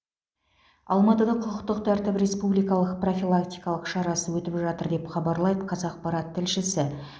алматыда құқықтық тәртіп республикалық профилактикалық шарасы өтіп жатыр деп хабарлайды қазақпарат тілшісі